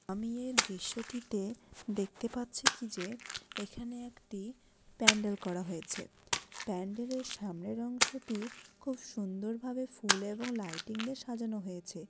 আমি এই দৃশ্যটিতে দেখতে পাচ্ছি কি যে এখানে একটি প্যান্ডেল করা হয়েছে । প্যান্ডেলের সামনের অংশটি খুব সুন্দরভাবে ফুল এবং লাইটিং দিয়ে সাজানো হয়েছে।